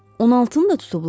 16-nı da tutublar?